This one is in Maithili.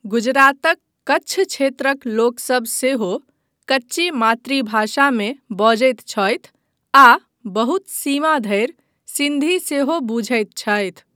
गुजरातक कच्छ क्षेत्रक लोकसभ सेहो कच्ची मातृभाषामे बजैत छथि आ बहुत सीमा धरि सिन्धी सेहो बुझैत छथि।